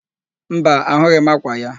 Mba, ahụghị m ákwà ya.